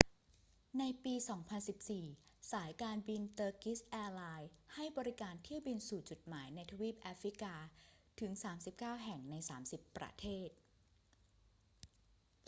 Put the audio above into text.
ในปี 2014 สายการบินเตอร์กิชแอร์ไลน์ให้บริการเที่ยวบินสู่จุดหมายในทวีปแอฟริกาถึง 39 แห่ง ใน 30 ประเทศ